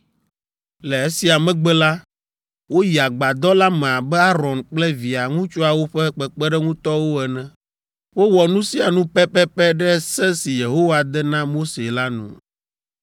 Le esia megbe la, woyi agbadɔ la me abe Aron kple via ŋutsuawo ƒe kpeɖeŋutɔwo ene. Wowɔ nu sia nu pɛpɛpɛ ɖe se si Yehowa de na Mose la nu.